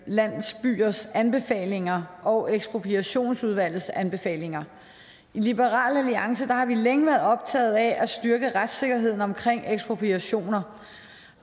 landsbyers anbefalinger og ekspropriationudvalgets anbefalinger i liberal alliance har vi længe været optaget af at styrke retssikkerheden omkring ekspropriationer